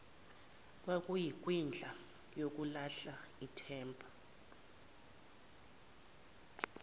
kwakuyikwindla yokulahla ithemba